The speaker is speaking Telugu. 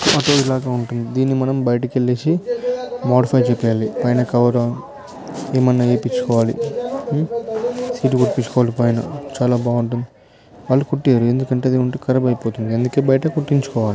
ఆటో ఇలాగ ఉంటుంది దీన్ని మనం బయటకు వెల్లేసి మోడీఫ్య్ చేపియాలి. పైన కవర్ ఏమయినా వేయిపించుకోవాలి ఊ సీట్ కుట్టి పించుకోవాలి పైన చాలా బాగుంటుంది వాళ్లు కుట్టియరు ఎందుకంటే అది ఉంటే ఖరాబ్ అయిపోతుంది అందుకే బయట కుట్టించుకోవాలి